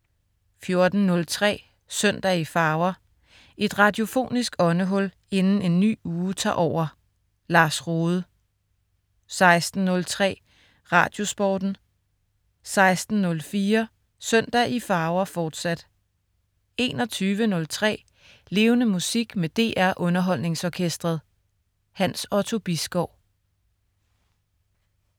14.03 Søndag i farver. Et radiofonisk åndehul inden en ny uge tager over. Lars Rohde 16.03 Radiosporten 16.04 Søndag i farver, fortsat 21.03 Levende Musik med DR Underholdningsorkestret. Hans Otto Bisgaard